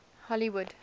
hollywood